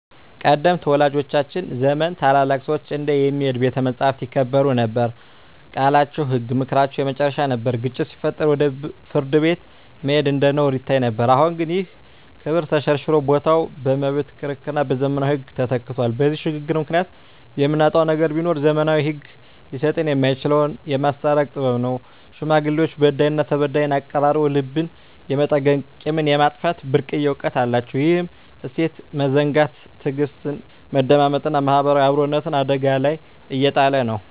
ቀደምት ወላጆቻችን ዘመን ታላላቅ ሰዎች እንደ "የሚሄድ ቤተ መጻሕፍት" ይከበሩ ነበር፤ ቃላቸው ህግ፣ ምክራቸው የመጨረሻ ነበር። ግጭት ሲፈጠር ወደ ፍርድ ቤት መሄድ እንደ ነውር ይታይ ነበር። አሁን ግን ይህ ክብር ተሸርሽሮ ቦታው በመብት ክርክርና በዘመናዊ ህግ ተተክቷል። በዚህ ሽግግር ምክንያት የምናጣው ነገር ቢኖር፣ ዘመናዊው ህግ ሊሰጠን የማይችለውን "የማስታረቅ ጥበብ" ነው። ሽማግሌዎች በዳይና ተበዳይን አቀራርበው ልብን የመጠገንና ቂምን የማጥፋት ብርቅዬ እውቀት አላቸው። ይህን እሴት መዘንጋት ትዕግስትን፣ መደማመጥንና ማህበራዊ አብሮነትን አደጋ ላይ እየጣለ ነው።